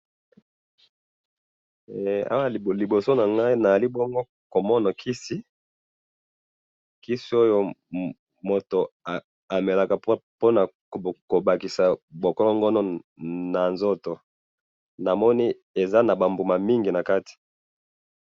he awa liboso nangayi awa nazali bongo komona kisi ,kisi oyo moto amelaka pona abakisa bo ngolokomo na nzoto namoni eza na ba mbuma ebele nakati.